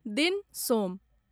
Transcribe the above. दिन सोम